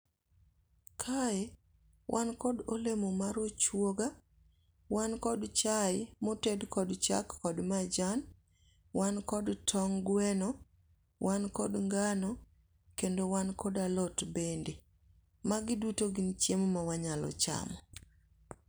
Kae wankod olemo mar ochuoga, wan kod chae moted kod chak kod majan, wan kod tong' gweno, wan kod ngano, kendo wan kod alot bende. Magi duto gin chiemo ma wanyalo chamo